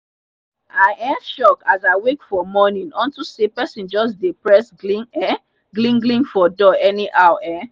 i um shock as i wake for morning unto say pesin jus dey press glin um glin glin for door anyhow um